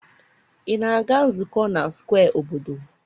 ị na-aga nzukọ na square obodo?